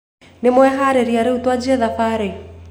Nĩwharĩĩrĩe rĩũ twanjie thabarĩ?